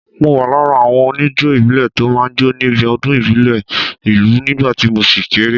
Mo wà lára àwọn oníjó ìbílẹ̀ tó máa ń jó níbi ọdún ìbílẹ̀ ìlú nígbà tí mo ṣì kéré